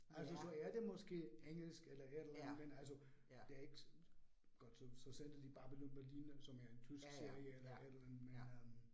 Altså så er det måske engelsk eller et eller andet, men altså det ikke godt så så sender de Babylon Berlin, som er en tysk serie eller et eller andet men øh